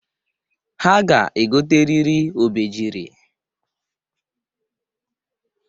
Ha ga-egoteriri obejiri.